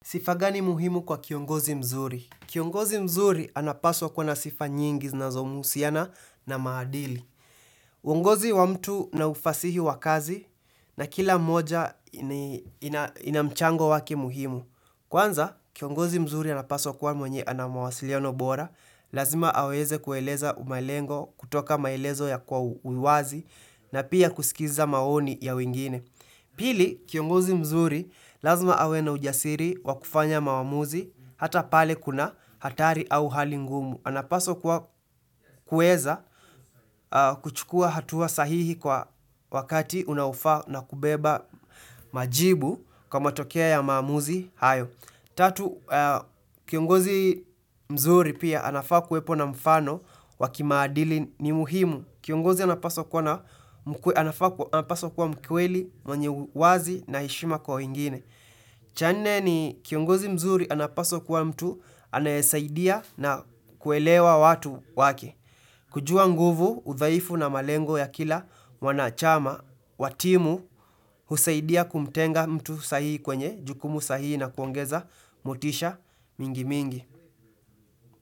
Sifa gani muhimu kwa kiongozi mzuri? Kiongozi mzuri anapaswa kuwa na sifa nyingi zinazomhusiana na maadili. Uongozi wa mtu na ufasihi wa kazi na kila mmoja inamchango wake muhimu. Kwanza, kiongozi mzuri anapaswa kuwa mwenye ana mawasiliano bora, lazima aweze kueleza umalengo kutoka maelezo ya kwa uwazi na pia kuskiza maoni ya wengine. Pili, kiongozi mzuri lazima awe na ujasiri wakufanya maamuzi hata pale kuna hatari au hali ngumu. Anapaswa kuwa kueza kuchukua hatua sahihi kwa wakati unaofaa na kubeba majibu kwa matokea ya maamuzi hayo. Tatu, kiongozi mzuri pia anafaa kuwepo na mfano wa kimaadili ni muhimu. Kiongozi anapaswa kuwa na anafaa anapaswa kuwa mkweli, mwenye uwazi na heshima kwa wengine. Cha nne ni kiongozi mzuri anapaswa kuwa mtu anayesaidia na kuelewa watu wake kujua nguvu, udhaifu na malengo ya kila mwanachama wa timu, husaidia kumtenga mtu sahii kwenye, jukumu sahii na kuongeza, motisha, mingi mingi.